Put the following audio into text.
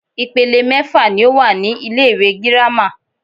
Ìpele mẹ́fà ní o wà ní ilé ìwé gírámà.